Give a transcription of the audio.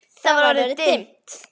Það var orðið dimmt.